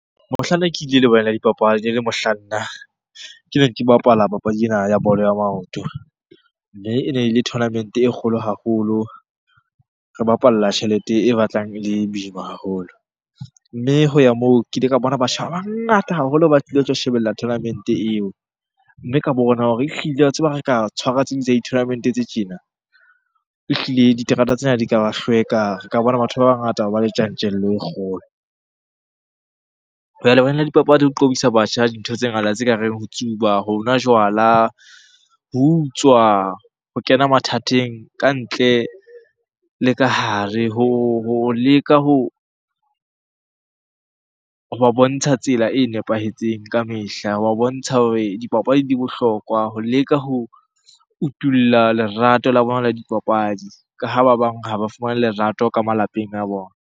Mohlanne ke ile le wena dipapadi, e mohlang nna ke neng ke bapala papadi ena ya bolo ya maoto. Mme e ne ele tournament-e kgolo haholo, re bapalla tjhelete e batlang ele boima haholo. Mme ho ya moo, ke ile ka bona batjha ba bangata haholo ba tlile ho tlo shebella tournament-e eo. Mme ka bona hore ehlile wa tseba ha re ka tshwara tse ding tsa di-tournament-e tse tjena, ehlile diterata tsena di ka ba hlweka. Re ka bona batho ba bangata ba le tjantjello e kgolo. Ho ya lebaleng la dipapadi ho qobisa batjha dintho tse ngata tse kareng ho tsuba, ho nwa jwala, ho utswa, ho kena mathateng ka ntle le ka hare, ho leka hoba bontsha tsela e nepahetseng ka mehla. Wa bontsha hore dipapadi di bohlokwa, ho leka ho utulla lerato la bona la dipapadi ka ha ba bang ha ba fumane lerato ka malapeng a bona.